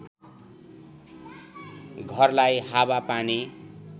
घरलाई हावा पानी